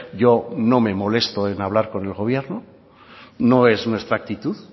yo no me molesto en hablar con el gobierno no es nuestra actitud